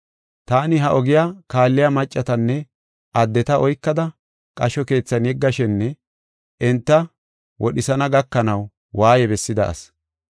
Taani ha ogiya kaalliya maccatanne addeta oykada qasho keethan yeggashenne enta wodhisana gakanaw waaye bessida asi.